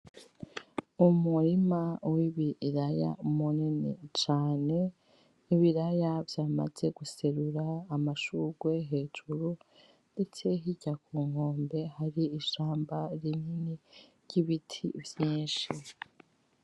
Umurima wibiraya munini cane, nibiraya vyamaze guserura amashugwe hejuru, Ndetse hirya kunkombe hari ishamba rinini ry' ibiti vyinshi.